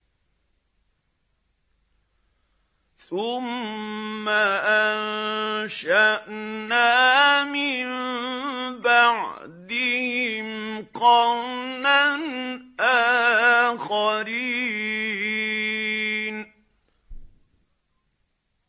ثُمَّ أَنشَأْنَا مِن بَعْدِهِمْ قَرْنًا آخَرِينَ